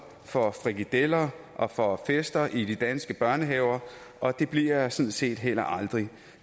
for frikadeller og for fester i de danske børnehaver og det bliver jeg sådan set heller aldrig